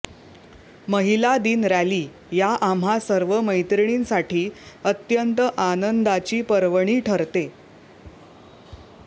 महिला दिन रॅली या आम्हा सर्व मैत्रिणींसाठी अत्यंत आनंदाची पर्वणी ठरते